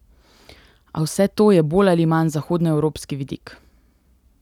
A vse to je bolj ali manj zahodnoevropski vidik.